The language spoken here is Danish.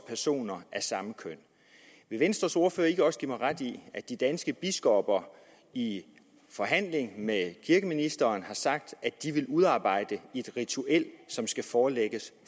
personer af samme køn vil venstres ordfører ikke også give mig ret i at de danske biskopper i forhandling med kirkeministeren har sagt at de vil udarbejde et ritual som skal forelægges